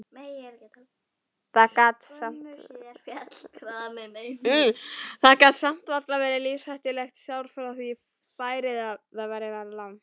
Það gat samt varla verið lífshættulegt sár því færið var það langt.